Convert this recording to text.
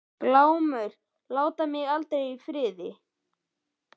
Glámur láta mig aldrei í friði.